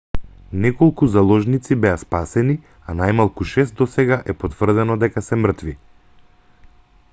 неколку заложници беа спасени а најмалку шест досега е потврдено дека се мртви